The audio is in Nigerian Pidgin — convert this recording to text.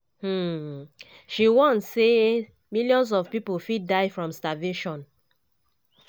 um she warn say millions of pipo fit die from starvation.